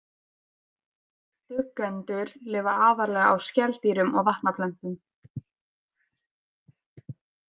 Duggendur lifa aðallega á skeldýrum og vatnaplöntum.